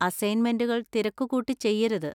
അസൈൻമെന്‍റുകള്‍ തിരക്കുകൂട്ടി ചെയ്യരുത്.